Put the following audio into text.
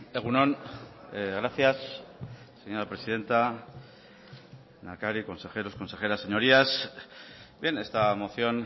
egun on gracias señora presidenta lehendakari consejeros consejeras señorías bien esta moción